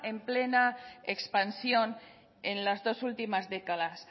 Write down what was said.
en plena expansión en las dos últimas décadas